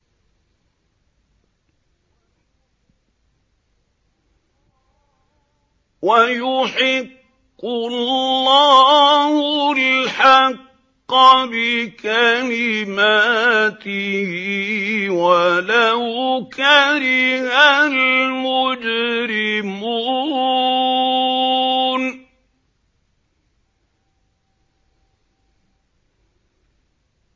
وَيُحِقُّ اللَّهُ الْحَقَّ بِكَلِمَاتِهِ وَلَوْ كَرِهَ الْمُجْرِمُونَ